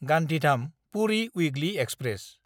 गान्धीधाम–पुरि weekly express